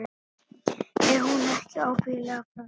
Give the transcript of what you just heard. Er hún ekki ábyggilega frönsk?